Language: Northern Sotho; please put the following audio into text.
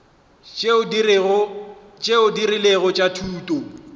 tšeo di rilego tša thuto